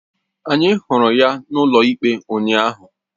Anyị hụrụ ya n'ụlọikpe ụnyaahụ